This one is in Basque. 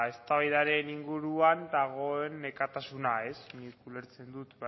eztabaidaren inguruan dagoen nekatasuna nik ulertzen dut